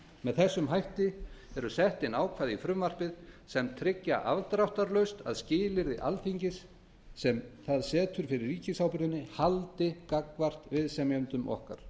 með þessum hætti eru sett inn ákvæði í frumvarpið sem tryggja afdráttarlaust að skilyrði sem alþingi setur fyrir ríkisábyrgðinni haldi gagnvart viðsemjendum okkar